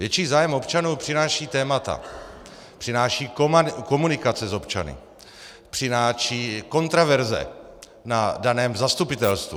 Větší zájem občanů přinášejí témata, přináší komunikace s občany, přinášejí kontroverze na daném zastupitelstvu.